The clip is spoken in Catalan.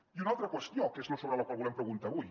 i una altra qüestió que és sobre la qual volem preguntar avui